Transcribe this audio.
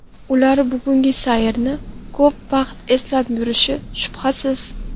Ular bugungi sayrni ko‘p vaqt eslab yurishi, shubhasiz.